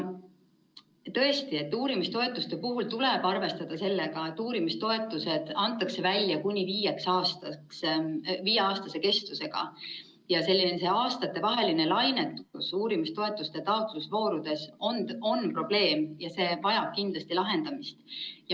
Tõesti, uurimistoetuste puhul tuleb arvestada sellega, et uurimistoetused antakse välja kuni viieks aastaks, viieaastase kestvusega, ja aastatevaheline lainetus uurimistoetuste taotlemise voorudes on probleem ja see vajab kindlasti lahendamist.